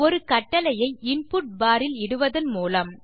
ஒரு கட்டளையை input bar இல் இடுவதன் மூலம்